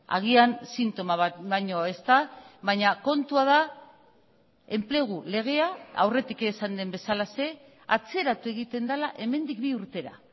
agian sintoma bat baino ez da baina kontua da enplegu legea aurretik esan den bezalaxe atzeratu egiten dela hemendik bi urtera